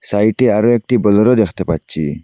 সাইটে আরও একটি বোলেরো দেখতে পাচ্ছি।